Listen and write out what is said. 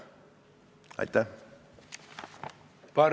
Aitäh!